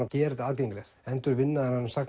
að gera þetta aðgengilegt endurvinna þennan